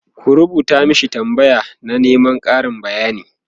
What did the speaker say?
ku rubuta mashi tambaya na Neman Karin bayani!